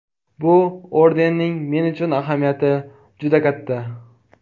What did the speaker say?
Bu ordenning men uchun ahamiyati juda katta.